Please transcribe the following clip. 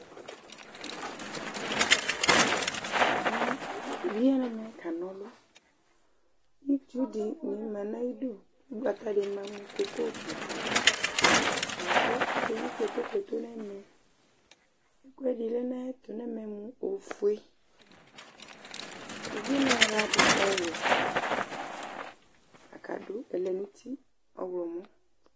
Ɛmɛ ,uvie ya nɛmɛ kana ɔlʋItsu dɩ ma nyidu ,ʋgbata dɩ ma mʋ koko gbataLakʋ ake yi kpotokpoto nɛmɛ ,ɛkʋdɩ lɛ nayɛtʋ nɛmɛ mʋ ofue Uvie nayɩɣla adʋ ɔwɛ ,kadʋ ɛlɛnuti ɔɣlɔmɔ